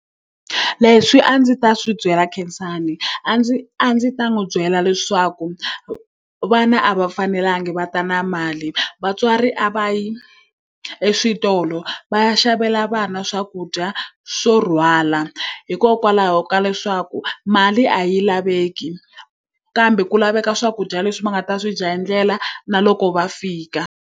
Leswi a ndzi ta swi byela Khensani a ndzi a ndzi ta n'wi byela leswaku, vana a va fanelanga va ta na mali. Vatswari a va ye eswitolo va ya xavela vana swakudya swo rhwala, hikokwalaho ka leswaku mali a yi laveki kambe ku laveka swakudya leswi va nga ta swi dya hi ndlela na loko va fika.